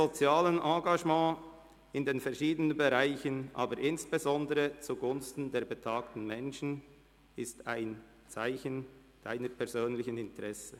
Ihr soziales Engagement in den verschiedenen Bereichen, aber insbesondere zugunsten der betagten Menschen, ist ein Merkmal Ihrer persönlichen Interessen.